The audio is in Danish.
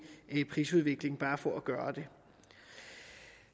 prisudvikling bare for at gøre det